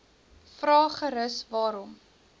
vra gerus waarom